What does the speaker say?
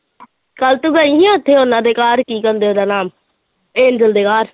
ਕੱਲ੍ਹ ਤੂੰ ਗਈ ਸੀ ਉੱਥੇ ਉਹਨਾਂ ਦੇ ਘਰ ਕੀ ਕਹਿੰਦੇ ਉਹਦਾ ਨਾਮ ਏਜਲ ਦੇ ਘਰ